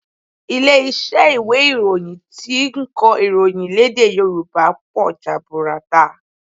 Ilé iṣẹ́ ìwé ìròyìn tí ń kọ ìròyìn lédè Yòrùbá pọ̀ jaburata